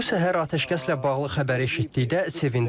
Bu səhər atəşkəslə bağlı xəbər eşitdikdə sevindim.